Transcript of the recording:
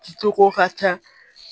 Cogo ka ca